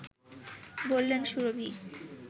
বললেন সুরভী